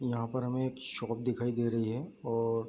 यहाँ पर हमे एक शॉप दिखाई दे रही है और --